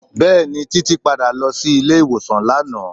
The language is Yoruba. Bẹẹni, Títí padà lọ sí ilé ìwòsàn lánàá.